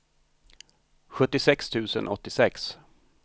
sjuttiosex tusen åttiosex